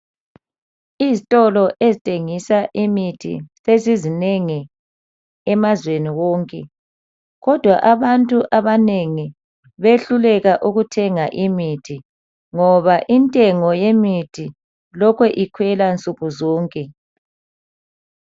Izitolo ezithengisa imithi sezizinengi emazweni wonke. Kodwa abantu abanengi bayehluleka ukuthenga imithi, ngoba intengo yemithi ilokhe ikhwela nsukuzonke.